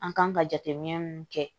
An kan ka jateminɛ min kɛ